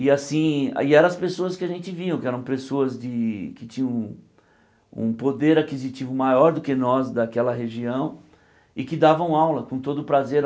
E assim e eram as pessoas que a gente viu, que eram pessoas de que tinham um poder aquisitivo maior do que nós, daquela região, e que davam aula com todo prazer.